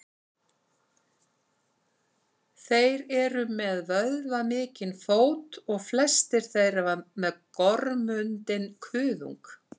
þeir eru með vöðvamikinn fót og flestir þeirra með gormundinn kuðung